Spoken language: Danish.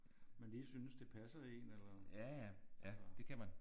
Man lige synes det passer en eller altså